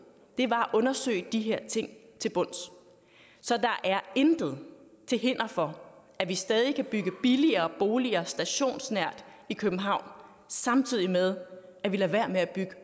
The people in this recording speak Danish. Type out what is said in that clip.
var at undersøge de her ting til bunds så der er intet til hinder for at vi stadig kan bygge billigere boliger stationsnært i københavn samtidig med at vi lader være med at bygge